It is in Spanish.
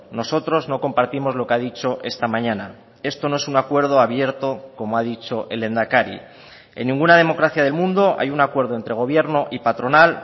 nosotros no compartimos lo que ha dicho esta mañana esto no es un acuerdo abierto como ha dicho el lehendakari en ninguna democracia del mundo hay un acuerdo entre gobierno y patronal